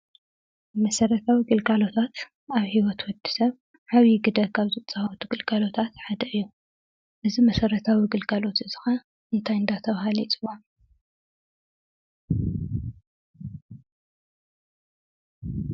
መሰረታዊ ግልጋሎታት ኣብ ሂወት ወዲሰብ ዓብዪ ግደ ካብ ዝፃወቱ ግልጋሎታት ሓደ እዩ፡፡ እዚ መሰረታዊ ግልጋሎት እዚ ኸ እንታይ እንዳተባህለ ይፅዋዕ?